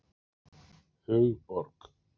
Hugborg